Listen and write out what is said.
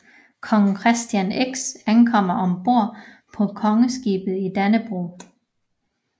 Kong Christian X ankommer ombord på Kongeskibet Dannebrog